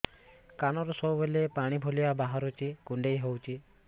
କାନରୁ ସବୁବେଳେ ପାଣି ଭଳିଆ ବାହାରୁଚି କୁଣ୍ଡେଇ ହଉଚି